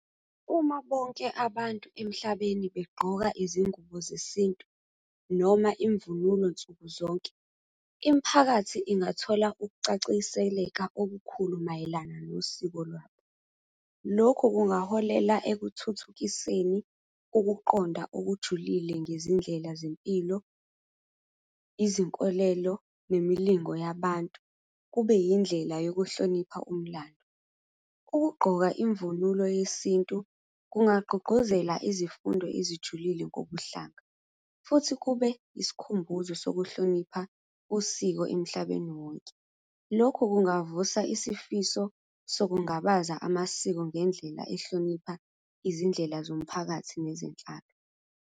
Uma bonke abantu emhlabeni begqoka izingubo zesintu noma imvunulo nsuku zonke, imiphakathi ingathola ukucaciseleka okukhulu mayelana nosiko lwabo. Lokhu kungaholela ekuthuthukiseni ukuqonda okujulile ngezindlela zempilo, izinkolelo, nemilingo yabantu, kube yindlela yokuhlonipha umlando. Ukugqoka imvunulo yesintu, kungabagqugquzela izifundo ezijulile kobuhlanga, futhi kube isikhumbuzo sokuhlonipha usiko emhlabeni wonke. Lokhu kungavusa isifiso sokungabaza amasiko ngendlela ehlonipha izindlela zomphakathi nezinhlaka.